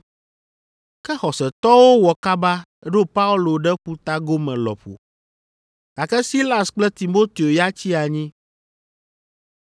Ke xɔsetɔwo wɔ kaba ɖo Paulo ɖe ƒuta gome lɔƒo, gake Silas kple Timoteo ya tsi anyi.